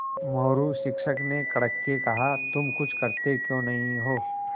मोरू शिक्षक ने कड़क के कहा तुम कुछ करते क्यों नहीं हो